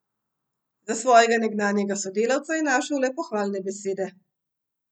Za svojega nekdanjega sodelavca je našel le pohvalne besede.